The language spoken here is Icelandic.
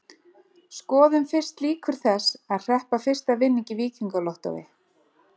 Skoðum fyrst líkur þess að hreppa fyrsta vinning í Víkingalottó.